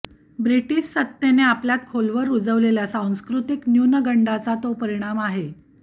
British सत्तेने आपल्यात खोलवर रुजवलेल्या सांस्कृतिक न्यूनगंडाचा तो परिणाम आहे